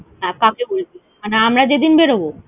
হ্যাঁ, কাকে বলেছিস? হ্যাঁ, আমরা যেদিন বেরবো?